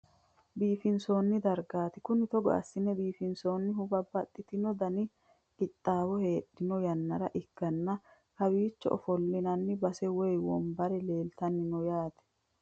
Biiffinsoonni dargaati kuni, togo assine biifinsannihu babbaxitino dani qixxaawo heedhanno yannara ikkanna kowiicho ofollinanni base woy wombare leeltanni no yaate